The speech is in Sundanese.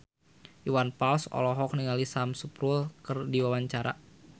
Iwan Fals olohok ningali Sam Spruell keur diwawancara